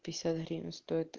пятьдесят гривен стоит